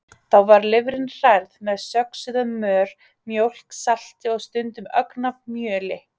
Þá var lifrin hrærð með söxuðum mör, mjólk, salti og stundum ögn af mjöli.